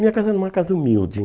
Minha casa era uma casa humilde.